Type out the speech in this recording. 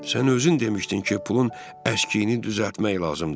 Sən özün demişdin ki, pulun əşkiyini düzəltmək lazımdır.